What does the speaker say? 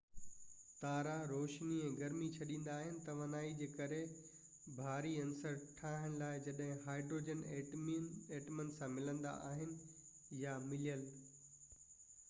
تارا روشني ۽ گرمي ڇڏيندا آهن توانائي جي ڪري ڀاري عنصر ٺاهڻ لاءِ جڏهن هائڊروجن ائٽمن سان ملندا آهن يا مليل